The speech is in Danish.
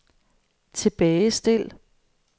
tilbagestil